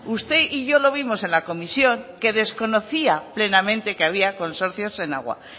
usted y yo lo vimos en la comisión que desconocía plenamente que había consorcios en agua